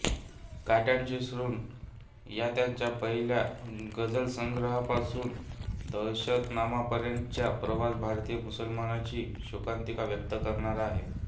काट्यांचे ऋण या त्यांच्या पहिल्या गझलसंग्रहापासून दहशतनामापर्यंतचा प्रवास भारतीय मुसलमानांची शोकांतिका व्यक्त करणारा आहे